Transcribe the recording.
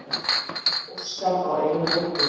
Óskar á eina dóttur.